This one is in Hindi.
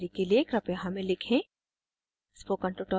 अधिक जानकारी के लिए कृपया हमें लिखें